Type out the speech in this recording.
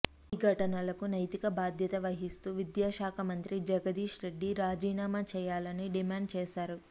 ఈ ఘటనలకు నైతిక బాధ్యత వహిస్తూ విద్యాశాఖ మంత్రి జగదీశ్రెడ్డి రాజీనామా చేయాలని డిమాండ్ చేశారు